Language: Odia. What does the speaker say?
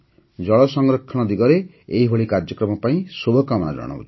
ଜଳ ସଂରକ୍ଷଣ ଦିଗରେ ଏହିଭଳି କାର୍ଯ୍ୟକ୍ରମ ପାଇଁ ଶୁଭକାମନା ଜଣାଉଛି